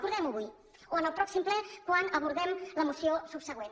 acordem ho avui o en el pròxim ple quan abordem la moció subsegüent